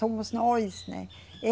Somos nós, né?